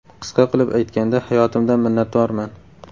Qisqa qilib aytganda, hayotimdan minnatdorman.